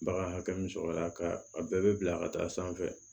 Bagan hakɛ min sɔrɔ la ka a bɛɛ bɛ bila ka taa sanfɛ